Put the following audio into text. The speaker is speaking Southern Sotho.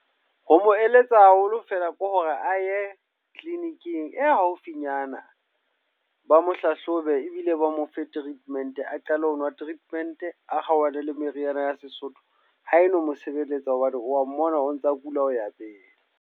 Ho mo eletsa haholo feela ke hore a ye clinic-ing e haufinyana. Ba mo hlahlobe ebile ba mofe treatment, a qale ho nwa treatment a kgaohane le meriana ya Sesotho. Ha e no mo sebeletsa hobane wa mmona o ntsa kula ho ya pele.